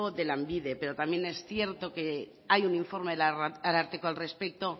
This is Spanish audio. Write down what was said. de lanbide pero también es cierto que hay un informe del ararteko al respecto